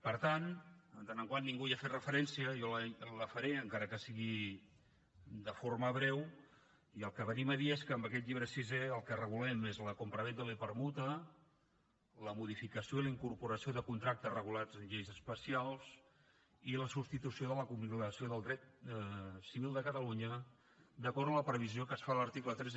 per tant en tant que ningú no hi ha fet referència jo la faré encara que sigui de forma breu i el que venim a dir és que amb aquest llibre sisè el que regulem és la compravenda i la permuta la modificació i la incorporació de contractes regulats en lleis especials i la substitució de la compilació del dret civil de catalunya d’acord amb la previsió que es fa a l’article tres